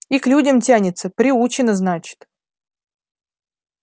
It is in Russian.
и к людям тянется приучена значит